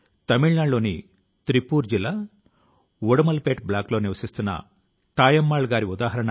మీ కలల ను నెరవేర్చుకోవడానికి వయస్సు తో సంబంధం లేదు అనేందుకు విఠలాచార్య గారు ఒక ఉదాహరణ